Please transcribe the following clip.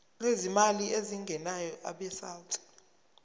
lwezimali ezingenayo abesouth